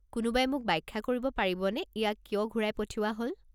কোনোবাই মোক ব্যাখ্যা কৰিব পাৰিবনে ইয়াক কিয় ঘূৰাই পঠিওৱা হ'ল?